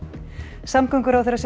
samgönguráðherra segir